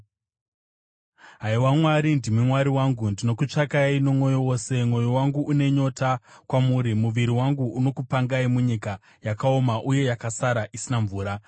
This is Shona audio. Haiwa Mwari, ndimi Mwari wangu, ndinokutsvakai nomwoyo wose; mwoyo wangu une nyota kwamuri, muviri wangu unokupangai, munyika yakaoma uye yasakara isina mvura.